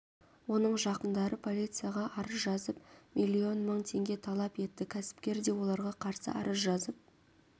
оның жақындары полицияға арыз жазып миллион мың теңге талап етті кәсіпкер де оларға қарсы арыз жазып